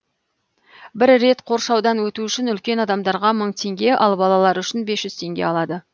бір рет қоршаудан өту үшін үлкен адамдарға мың теңге ал балалар үшін бес жүз теңге алады